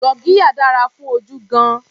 Gurgiya dára fún ojú gan-an.